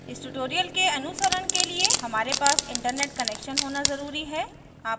इस ट्यूटोरियल के अनुसरण के लिए हमारे पास इंटरनेट कनेक्शन होना ज़रूरी है